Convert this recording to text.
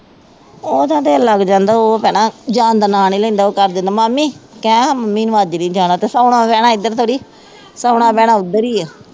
ਉਹ ਦਿਲ ਲੱਗ ਜਾਂਦਾ ਉਹ ਭੇਣਾ ਜਾਣ ਦਾ ਨਾਂ ਨਹੀਂ ਲੈਂਦਾ, ਉਹ ਕਰਦਾ ਹੁੰਦਾ ਮਾਮੀ ਕਹਿ ਮੰਮੀ ਨੂੰ ਮਾਜ਼ਰੀ ਜਾਣਾ, ਸੌਣਾ, ਬਹਿਣਾ ਇੱਧਰ ਥੋੜ੍ਹੀ ਸ਼ੋਣਾ, ਬਹਿਣਾ ਉੱਧਰ ਹੀ ਹੈ